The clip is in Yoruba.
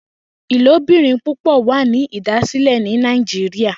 Ilobirin pupọ wa ni idasilẹ ni Nàìjíríà.